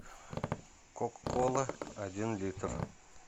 кока кола один литр